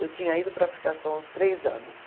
Eu tinha ido para ficar só uns três anos.